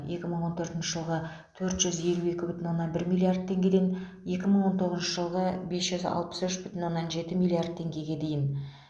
екі мың он төртінші жылғы төрт жүз елу екі бүтін оннан бір миллард теңгеден екі мың он тоғызыншы жылғы бес жүз алпыс үш бүтін оннан жеті миллард теңгеге дейін